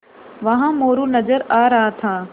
वहाँ मोरू नज़र आ रहा था